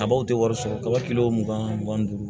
Kabaw tɛ wari sɔrɔ kaba kilo mugan mugan duuru